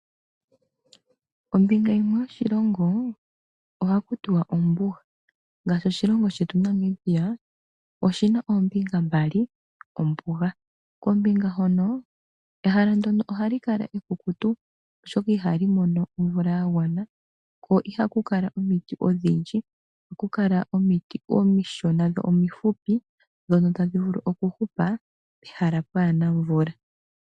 Ombinga yimwe yoshilongo oha kutiwa ombuga, ngaashi oshilongo shetu Namibia oshina oombinga mboli, ombuga. Kombinga hono, ehala ndyono oha li ekala ekukutu oshoka iha li mono omvula yagwana, ko iha ku kala omiti odhindji, oha ku kala omiti omishona dho omifupi, ndhono ta dhi vulu oku hupa pehala kaapuna omvula.